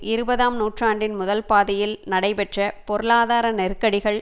இருபதாம் நூற்றாண்டின் முதல் பாதியில் நடைபெற்ற பொருளாதார நெருக்கடிகள்